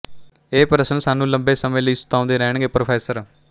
ਇਹ ਪ੍ਰਸ਼ਨ ਸਾਨੂੰ ਲੰਬੇ ਸਮੇਂ ਲਈ ਸਤਾਉਂਦੇ ਰਹਿਣਗੇ ਪ੍ਰੋ